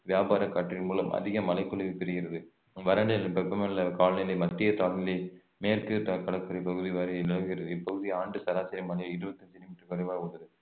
வியாபார காற்றின் மூலம் அதிக மழை பொழிவு பெறுகிறது வறண்ட வெப்ப மண்டல காலநிலை மத்திய தாழ்நிலை மேற்கு ட~ கடற்கரை பகுதி வரை நிலவுகிறது இப்பகுதி ஆண்டு சராசரி மழை இருவத்தி அஞ்சு மீட்டர் குறைவாக உள்ளது